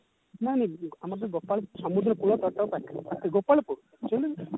ନାଇଁ ଆମର ଯଉ ଗୋପାଳପୁର ସମୁଦ୍ର କୁଳ ପୁରା ତା ପାଖରେ ଆଛା ଗୋପାଳପୁର actually